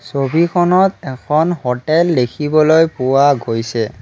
ছবিখনত এখন হোটেল দেখিবলৈ পোৱা গৈছে।